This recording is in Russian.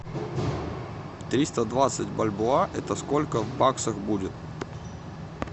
триста двадцать бальбоа это сколько в баксах будет